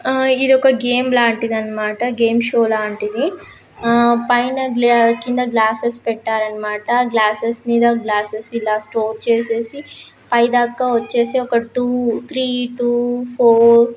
ఆ ఇది ఒక గేమ్ లాంటిది అన్నమాట. గేమ్ షో లాంటిది ఆ పైన కింద గ్లాసస్ పెట్టారు అన్నమాట. గ్లాసస్ మీద గ్లాసస్ ఇలా స్టోర్ చేసేసి పై దాకా వచ్చేసి ఒక టూ త్రీ టూ ఫోర్ --